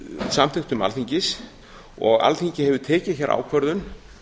samþykktum alþingis og alþingi hefur tekið hér ákvörðun